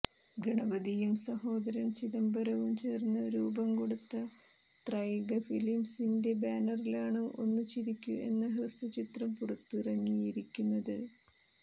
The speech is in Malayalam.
ഗണപതിയും സഹോദരൻ ചിദംബരവും ചേർന്ന് രൂപംകൊടുത്ത ത്രൈക ഫിലിംസിന്റെ ബാനറിലാണ് ഒന്നു ചിരിക്കൂ എന്ന ഹ്രസ്വചിത്രം പുറത്തിറങ്ങിയിരിക്കുന്നത്